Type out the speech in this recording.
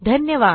धन्यवाद